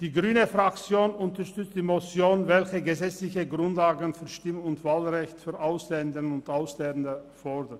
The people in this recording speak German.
Die grüne Fraktion unterstützt die Motion, welche gesetzliche Grundlagen für ein Stimm- und Wahlrecht für Ausländerinnen und Ausländer fordert.